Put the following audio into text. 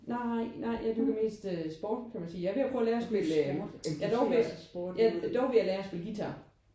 Nej nej jeg dyrker mest øh sport kan jeg sige. Jeg er ved at prøve at lære at spille øh jeg er ved dog vil jeg lære at spille guitar